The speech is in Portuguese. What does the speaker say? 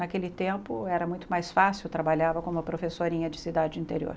Naquele tempo era muito mais fácil, trabalhava como professorinha de cidade interior.